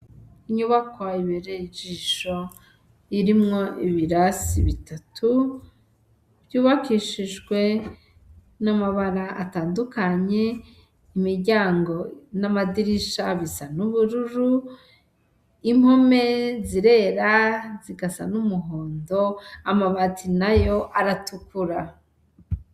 Inyubakwa ibereye ijisho, irimwo ibirasi bitatu, vyubakishijwe n'amabara atandukanye, imiryango n'amadirisha bisa n'ubururu, impome zirera zigasa n'umuhondo, amabati nayo aratukura.